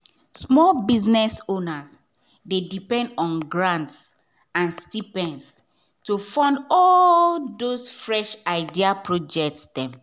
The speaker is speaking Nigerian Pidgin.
small biz owners dey depend on grants and stipends to fund all those fresh idea projects.